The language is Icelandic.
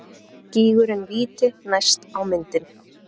Gígurinn Víti næst á myndinni.